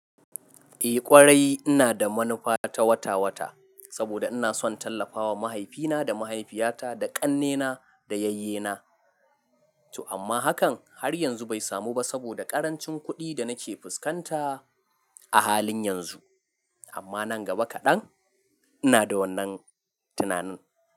Eh ƙwarai ina da manufa ta wata-wata saboda ina son tallafawa mahaifina da mahaifiyata da ƙannena da yayyena. To amma hakan har yanzu bai samu ba saboda ƙarancin kuɗi da nake fuskanta a halin yanzu. Amma nan gaba kaɗan ina da wannan tunanin.